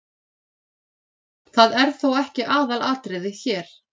Það er þó ekki aðalatriðið hér.